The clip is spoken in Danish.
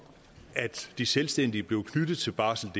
at de selvstændige blev knyttet til barseldk